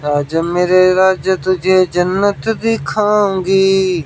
जन्नत दिखाउगी --